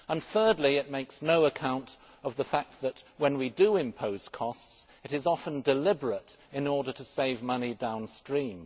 Thirdly, they take no account of the fact that when we do impose costs, it is often deliberate in order to save money downstream.